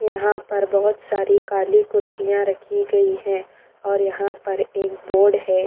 यहाँ पर बहुत सारी काली कुर्सियाँ रखी गई हैं और यहाँ पर एक बोर्ड है।